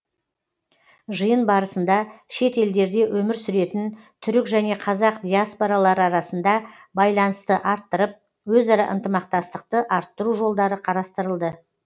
жиын барысында шет елдерде өмір сүретін түрік және қазақ диаспоралары арасында байланысты арттырып өзара ынтымақтастықты арттыру жолдары қарастырылды